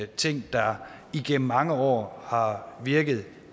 ting der igennem mange år har virket